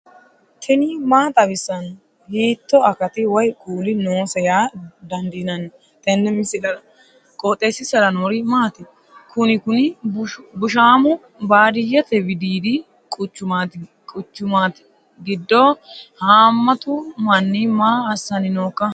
tini maa xawissanno ? hiitto akati woy kuuli noose yaa dandiinanni tenne misilera? qooxeessisera noori maati? kuni kuni bushshaamu baadiyete widiidi quchumaati giddo haammatu manni maa assanni nooikka